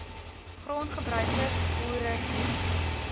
grondgebruikers boere hetsy